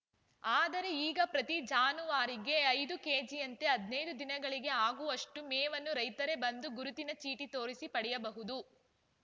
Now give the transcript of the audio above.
ಆದರೆ ಈಗ ಪ್ರತಿ ಜಾನುವಾರಿಗೆ ಐದು ಕೆಜಿಯಂತೆ ಹದಿನೈದು ದಿನಗಳಿಗೆ ಆಗುವಷ್ಟು ಮೇವನ್ನು ರೈತರೇ ಬಂದು ಗುರುತಿನ ಚೀಟಿ ತೋರಿಸಿ ಪಡೆಯಬಹುದು